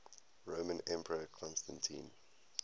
roman emperor constantine